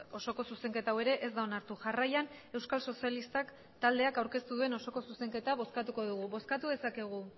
osoko zuzenketa hau ere ez da onartu jarraian euskal sozialistak taldeak aurkeztu duen osoko zuzenketa bozkatuko dugu bozkatu dezakegu